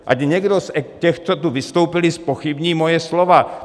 Ať někdo z těch, co tu vystoupili, zpochybní moje slova.